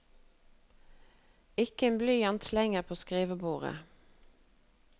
Ikke en blyant slenger på skrivebordet.